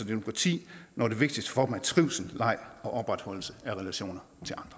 demokrati når det vigtigste for dem er trivsel leg og opretholdelse af relationer